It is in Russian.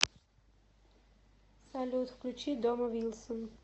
салют включи домо вилсон